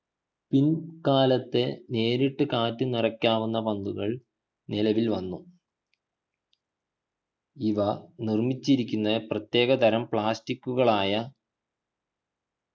പിൽക്കാലത്തെ നേരിട്ടു കാറ്റ് നിറയ്ക്കാവുന്ന പന്തുകൾ നിലവിൽ വന്ന ഇവ നിർമിച്ചിരിക്കുന്ന പ്രതേക തരം plastic ഉകളായ